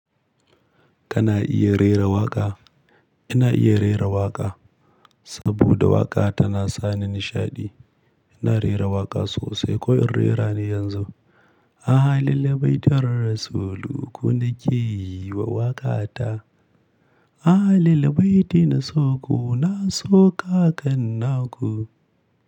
Kana iya rera waƙa? Ina iya rera waƙa, saboda waƙa tana sani nishaɗi. Ina rera waƙa sosai ko in rera ne yanzu. Ahlul baitin rasulu ku na ke yi wa waƙa ta. Ahlul baiti na so ku, na so ka gan naku.